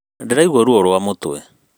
Ndĩraigua ruo rwa mũtwe